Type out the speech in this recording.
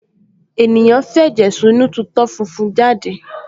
ènìyàn f’ẹ̀jẹ̀ sínú tu itọ́ funfun jáde